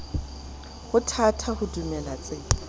ho thata ho dumela tsena